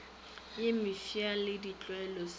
ye mefsa le ditlwaelo se